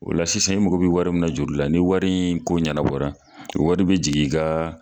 O la sisan i mago be wari min na juru la ni wari in ko ɲɛnɛbɔ la wari be jigin i gaa